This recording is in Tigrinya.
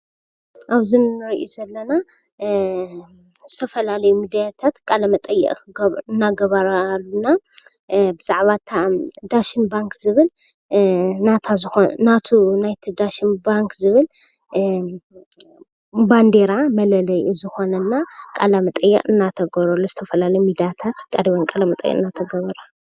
ኣብዚ ንርኢ ዘለና ዝተፈላለዩ ሚዳታት በዛዕባ እታ ዳሽን ባንኪ ባንደራ መለልዩ ዝኮነት ቃለ መጠየቀ እንዳተገበረሉ እዩ።